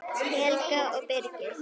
Helga og Birgir.